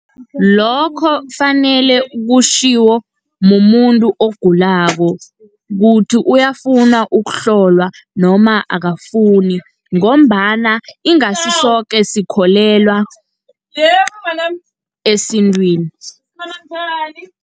Lokho kufanele kutjhiwo mumuntu ogulako, ukuthi uyafuna ukuhlolwa noma akafuni, ngombana ingasisoke sikholelwa esintwini.